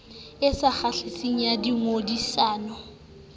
e sa kgahliseng ya dingangisano